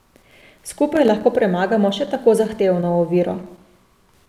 Skupaj lahko premagamo še tako zahtevno oviro.